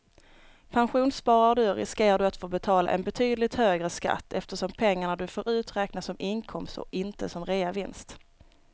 Pensionssparar du riskerar du att få betala en betydligt högre skatt eftersom pengarna du får ut räknas som inkomst och inte som reavinst.